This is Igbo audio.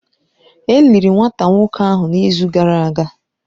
E liri nwata nwoke ahụ n’izu gara aga.